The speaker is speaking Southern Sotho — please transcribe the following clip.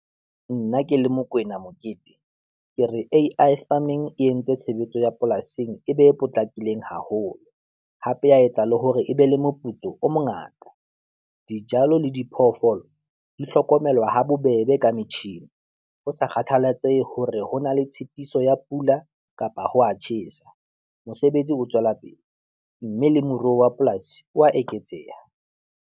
Nna ke le Mokwena Mokete, ke re A_I Farming e entse tshebetso ya polasing e be e potlakileng haholo, hape ya etsa le hore e be le moputso o mongata. Dijalo le diphoofolo di hlokomelwa ha bobebe ka metjhini ho sa kgathallatsehe hore ho na le tshitiso ya pula kapa ho wa tjhesa. Mosebetsi o tswellapele mme le moruo wa polasi wa eketseha.